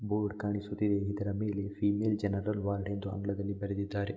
Board ಕಾಣಿಸುತ್ತಿದೆ ಇದರ ಮೇಲೆ ಫೀಮೇಲ್ ಜನರಲ್ ವಾರ್ಡ್ ಎಂದು ಆಂಗ್ಲದಲ್ಲಿ ಬರೆದಿದ್ದಾರೆ.